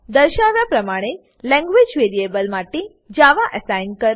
દર્શાવ્યા પ્રમાણે language variable માટે જાવા એસાઈન કરો